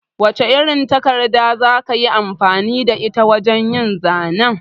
Wace irin takarda za ka yi amfani da ita wajen yin zanen?